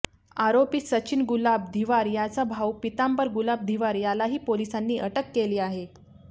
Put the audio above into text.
आरोपी सचिन गुलाब धिवार याचा भाऊ पितांबर गुलाब धिवार यालाही पोलिसांनी अटक केली आहे